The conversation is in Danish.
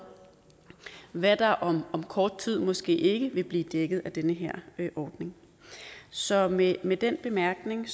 hvad der om om kort tid måske ikke vil blive dækket af den her ordning så med med den bemærkning